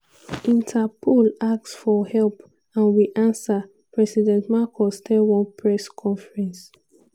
"interpol ask for help and we ansa" president marcos tell one press conference.